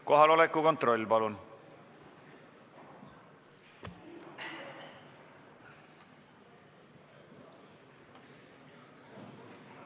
Kohaloleku kontroll, palun!